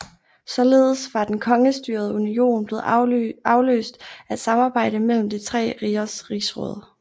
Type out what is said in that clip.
Således var den kongestyrede union blevet afløst af et samarbejde mellem de tre rigers rigsråd